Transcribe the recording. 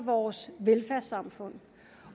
vores velfærdssamfund